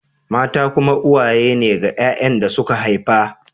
Mata kuma uwaye ne ga ‘ya’yan da suka haifa